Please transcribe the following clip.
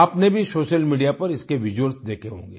आपने भी social media पर इसके विजुअल्स देखे होंगे